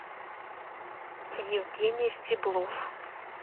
евгений стеблов